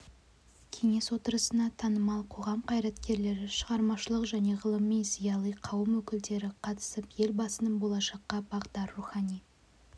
кеңес отырысына танымал қоғам қайраткерлері шығармашылық және ғылыми зиялы қауым өкілдері қатысып елбасының болашаққа бағдар рухани